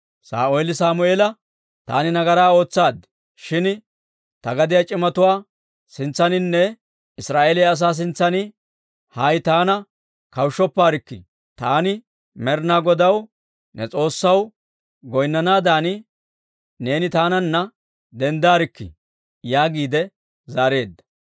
Saa'ooli Sammeela, «Taani nagaraa ootsaad; shin ta gadiyaa c'imatuwaa sintsaaninne Israa'eeliyaa asaa sintsan hay taana kawushshopparkkii; taani Med'inaa Godaw, ne S'oossaw goynnanaadan, neeni taananna denddarkkii» yaagiide zaareedda.